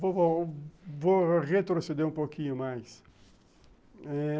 Vou vou retroceder um pouquinho mais eh